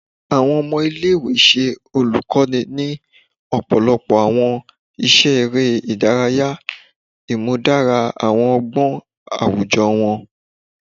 Awọn ọmọ ile-iwe ṣe olukoni ni ọpọlọpọ awọn iṣẹ ere idaraya, imudara awọn ọgbọn awujọ wọn